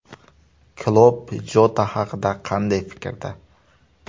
Klopp Jota haqida qanday fikrda?